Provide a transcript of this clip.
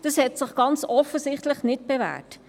Das hat sich ganz offensichtlich nicht bewährt.